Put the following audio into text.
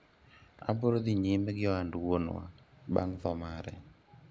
abiro dhi nyime gi ohand wuonwa bang' tho mare